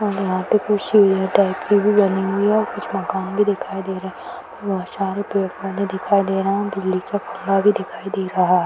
और यहां पे कुछ सीढ़ियों टाइप की भी बनी हुई है कुछ मकान भी दिखाई दे रहे बहुत सारे पेड़-पौधे दिखाई दे रहे बिजली का खंभा भी दिखाई दे रहा है।